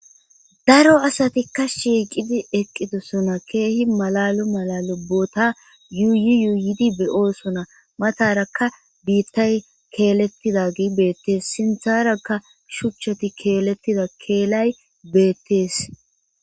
daro asatikka shiiqidi eqqidosona keehi malalu mala lobbota yuuyi yuuyidi beyoosona matarakka biittay keelettida gi beettees sintharakka shuchchati keelettida keelay beettees